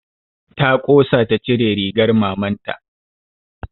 Ta ƙosa ta cire rigar maman ta